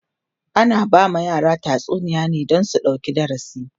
ana ba ma yara tatsuniya ne Dan su ɗauki darasi